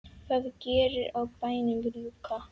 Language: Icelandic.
það gerir á bæjunum rjúka.